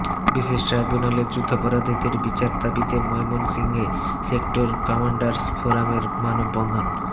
বিশেষ ট্রাইবুনালে যুদ্ধাপরাধীদের বিচার দাবিতে ময়মনসিংহে সেক্টর কমার্ন্ডাস ফোরামের মানববন্ধন